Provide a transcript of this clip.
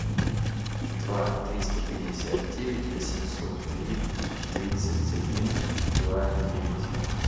два триста пятьдесят девять восемьсот три тридцать один два девять